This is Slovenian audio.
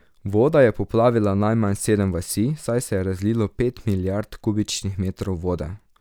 Voda je poplavila najmanj sedem vasi, saj se je razlilo pet milijard kubičnih metrov vode.